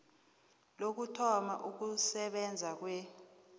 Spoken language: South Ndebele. lokuthoma ukusebenza kwe